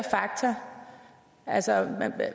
fakta